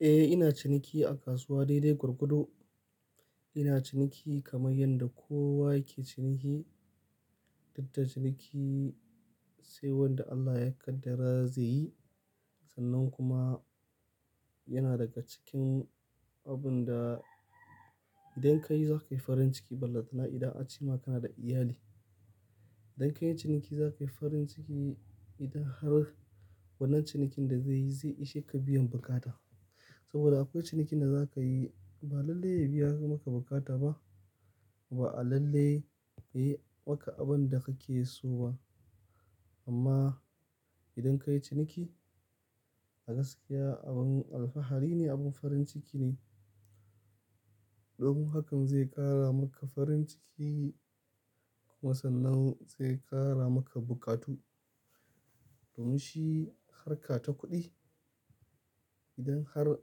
Eh, ina ciniki a kasuwa daidai gorgodo. Ina ciniki kamar yanda kowa yake ciniki. Dukda ciniki sai wanda Allah ya kaddara zai yi. Sannan kuma yana daga cikin abun da idan ka yi za ka yi farin ciki. Ballantana, idan an ce ma kana da iyali. Idan ka yi ciniki za ka yi farin ciki idan har wannan cinikin da zai yi zai ishe ka biyan bukata. Saboda akwai cinikin da za ka yi ba lalle ya biya maka bukata ba, ba lalle ya yi maka abin da kake so ba. Amma idan ka yi ciniki a gaskiya abin alfahari ne, abin farin ciki ne. Domin hakan zai ƙara maka farin ciki kuma sannan zai ƙara maka bukatu. Domin shi harka ta kuɗi, idan har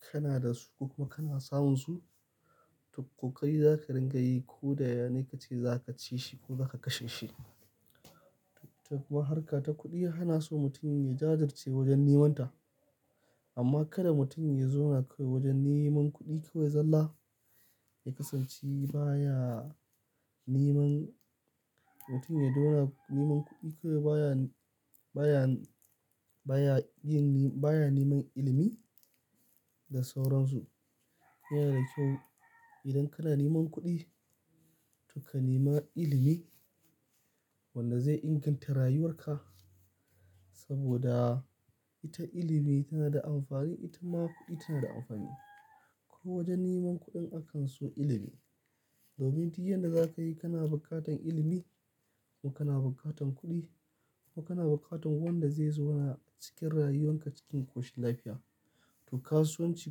kana da su kuma kana samun su, to kokari za ka dinga yi ko da yane kace za ka ci shi ko zaka kashe shi. To kuma harka ta kuɗi ana so mutum ya jajirce wajen neman ta. Amma kada mutum ya zauna kawai wajen neman kuɗi kawai. Zalla ya kasance baya neman mutum ya dora neman kuɗi kawai baya, baya yin, baya neman ilimi da sauransu. Yana da kyau idan kana neman kuɗi, to ka nema ilimi wanda zai inganta rayuwar ka. Saboda ita ilimi tana da amfani, ita ma kuɗi tana da amfani. Ko wajen neman kuɗin akan so ilimi. Domin tun yadda za ka yi kana bukatan ilimi, kuma kana bukatan kuɗi, kuma kana bukatan wanda zai zauna cikin rayuwan ka cikin ƙoshin lafiya. To kasuwanci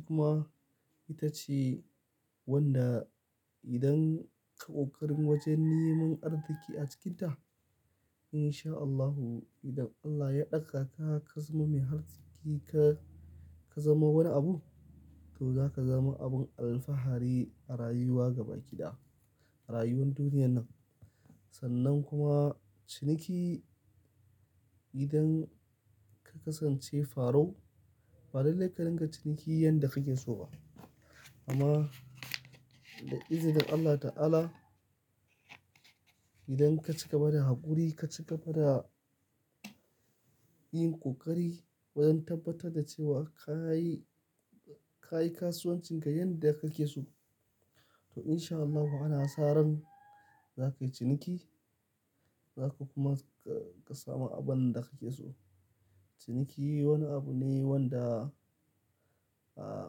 kuma ita ce wanda idan ka ƙoƙarin wajen neman arziƙi a cikinta in sha Allahu, idan Allah ya ɗaga ka, ka zama mai arziki ka zama wani abu toh za ka zama abin alfahari a rayuwa gaba ki ɗaya, a rayuwar duniyar nan. Sannan kuma ciniki idan ka kasance farau, ba lallai ka dinga ciniki yanda kake so ba. Amma da izinin Allah ta'ala, idan ka cigaba da haƙuri, ka cigaba da yin ƙoƙari, wajen tabbatar da cewa ka yi, ka yi kasuwancin ka yanda kake so toh in sha Allahu ana sa ran za ka yi ciniki. Za ka kuma ka samu abin da kake so. Ciniki wani abu ne wanda, ah,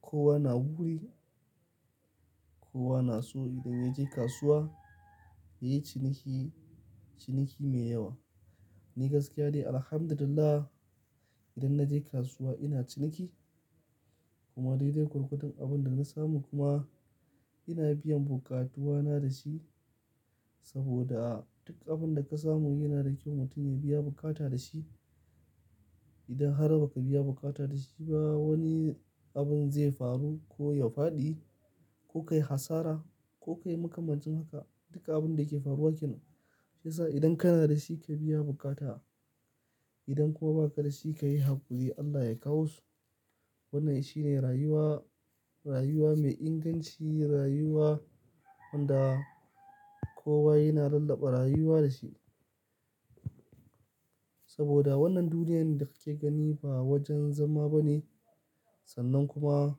kowa na wuri, kowa na so idan ya je kasuwa ya yi ciniki, ciniki mai yawa. Ni gaskiya de, alhamdulillah idan na je kasuwa ina ciniki kuma daidai ƙurƙutan abin da na samu kuma ina biyan bukatuna da shi. Saboda duk abin da ka samu yana da kyau mutum ya biya bukata da shi. Idan har ba ka biya bukata da shi ba wani abin zai faru ko ya faɗi, ko ka yi asara ko ka yi makamancin haka. Duka abun da ke faruwa kenan. Shiyasa idan kana da shi ka biya bukata. Idan kuwa ba ka da shi ka yi haƙuri Allah ya kawo su. Wannan shine rayuwa, rayuwa mai inganci, rayuwa wanda kowa yana rallaɓa rayuwa da shi. Saboda wannan duniyar da kake gani ba wajen zama ba ne. Sannan kuma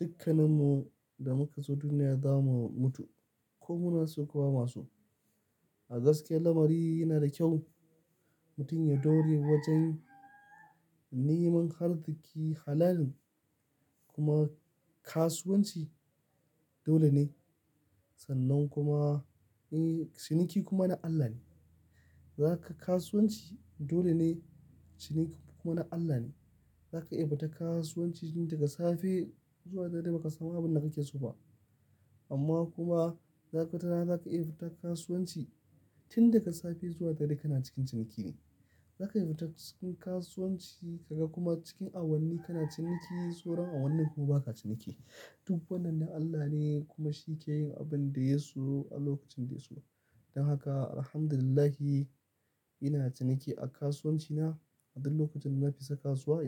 dukkaninmu da muka zo duniya za mu mutu ko muna so ko ba ma so. A gaskiya lamari yana da kyau mutum ya daure wajen neman arziƙi halalin, kuma kasuwanci dole ne. Sannan kuma, eh ciniki kuma na Allah ne. Zaka kasuwanci dole ne, ciniki kuma na Allah ne. Zaka iya fita kasuwanci tun daga safe zuwa dare ba ka samu abin da kake so ba. Amma kuma za kaga watarana zaka iya fita kasuwanci tun daga safe zuwa dare kana cikin ciniki ne. Zaka iya fita cikin kasuwanci ka ga kuma cikin awanni kana ciniki sauran awannin kuma ba ka ciniki. Duk wannan na Allah ne kuma shi ke yin abin da ya so a lokacin da ya so. Don haka alhamdulillahi ina ciniki a kasuwanci na. A duk lokacin da na fita kasuwa ina ciniki.